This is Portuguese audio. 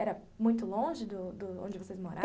Era muito longe do do onde vocês moravam?